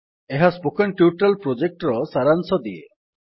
ଏହା spoken tutorial ପ୍ରୋଜେକ୍ଟର ସାରାଂଶ ଦିଏ